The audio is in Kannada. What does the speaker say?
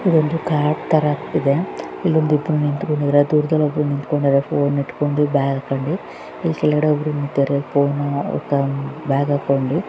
ಇದೊಂದು ಕಾಡ್ ತಾರಾ ಕಾಣ್ತಿದೆ ಇಲ್ಲೊಂದಿಬ್ಬರು ನಿಂತ್ಕೊಂಡಿದ್ದಾರೆ ಬ್ಯಾಗ್ ಅಲ್ಲಿ ಇಲ್ಲಿ ಒಬ್ಬರು ಬ್ಯಾಗ್ ಹಾಕೊಂಡಿ.